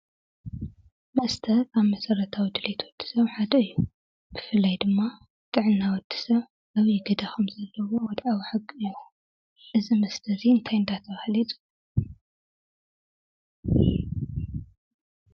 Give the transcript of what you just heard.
መስተ ካብ መሰረታዊ ድሌት ወዲ ሰብ ሓደ እዩ፡፡ ብፍላይ ድማ ጥዕና ወዲ ሰብ ወድዓዊ ሓቂ እዩ፡፡ እዚ መስተ እዚ እንታይ እናተባህለ ይፅዋዕ?